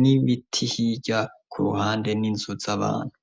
n'ibiti hirya ku ruhande n'inzu z'abantu.